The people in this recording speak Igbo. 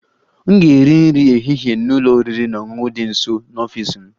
M ga-eri nri ehihie n'ụlọ oriri na ọṅụṅụ dị nso n'ọfịs m